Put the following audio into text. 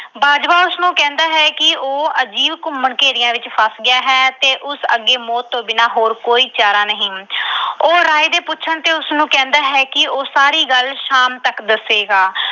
ਬਾਜਵਾ ਉਸਨੂੰ ਕਹਿੰਦਾ ਹੈ ਕਿ ਉਹ ਅਜੀਬ ਘੁੰਮਣ-ਘੇਰੀਆਂ ਵਿੱਚ ਫਸ ਗਿਆ ਹੈ ਤੇ ਉਸ ਅੱਗੇ ਮੌਤ ਤੋਂ ਬਿਨਾਂ ਹੋਰ ਕੋਈ ਚਾਰਾ ਨਹੀਂ। ਉਹ ਰਾਏ ਦੇ ਪੁੱਛਣ ਤੇ ਕਹਿੰਦਾ ਹੈ ਕਿ ਉਸਨੂੰ ਕਹਿੰਦਾ ਹੈ ਕਿ ਉਹ ਸਾਰੀ ਗੱਲ ਸ਼ਾਮ ਤੱਕ ਦੱਸੇਗਾ।